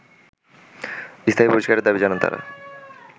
স্থায়ী বহিষ্কারের দাবি জানান তারা